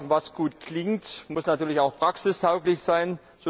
Was gut klingt, muss natürlich auch praxistauglich sein.